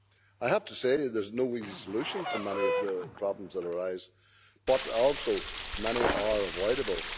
I have to say there is no easy solution to many of the problems that arise, but also, many are avoidable.